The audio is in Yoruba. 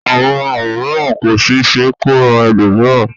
Àwọn àrùn mìíràn kò sì ṣe é kó ran ẹlòmíràn